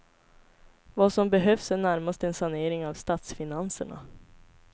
Vad som behövs är närmast en sanering av statsfinanserna.